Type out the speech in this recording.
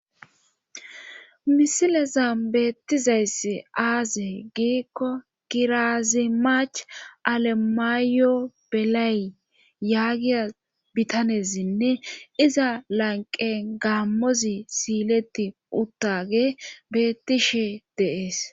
misileza beettizayss aaze giikko kirazimach alemaayo belay yaagiya bitanesinne iza lanqe gammozi siileti uttage beettishe deees